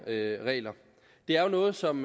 regler det er jo noget som